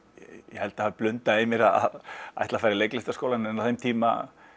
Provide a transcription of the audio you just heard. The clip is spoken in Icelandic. ég held það hafi blundað í mér að ætla að fara í leiklistarskólann en á þeim tíma